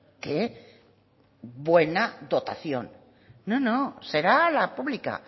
qué buena dotación no no será la pública